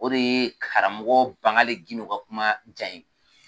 O de ye karamɔgɔ Bangali Gindo ka kuma diya n ye